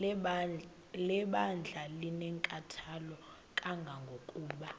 lebandla linenkathalo kangangokuba